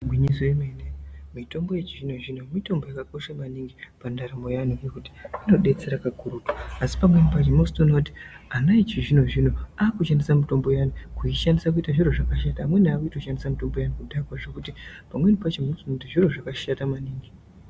Igwinyiso remene mitombo yechizvino zvino mitombo yakakosha maningi pandaramo yevantu ngekuti inodetsera kakurutu asi pamweni pacho unozotoone kuti ana echizvino zvino akushandise mitombo iyani kuishandise kuite zviro zvakashata, amweni akutoshandisa mitombo iyani kudhakwa zvekuti pamweni pacho unozotoone kuti zviro zvakashata maningi.